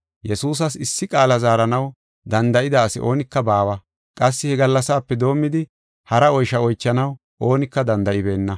Yesuusas issi qaala zaaranaw danda7ida asi oonika baawa. Qassi he gallasape doomidi hara oysha oychanaw oonika danda7ibeenna.